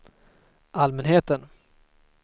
allmänheten